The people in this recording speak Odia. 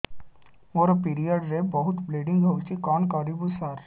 ମୋର ପିରିଅଡ଼ ରେ ବହୁତ ବ୍ଲିଡ଼ିଙ୍ଗ ହଉଚି କଣ କରିବୁ ସାର